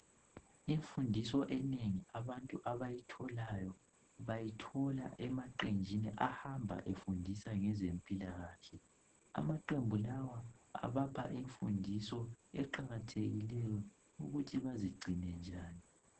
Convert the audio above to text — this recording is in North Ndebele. Imfundiso enengi abantu abayitholayo bayithola emaqenjini ahamba efundisa ngezempilahle, amaqembu lawa abapha imfundiso eqakathekileyo ukuthi bazigcine njani.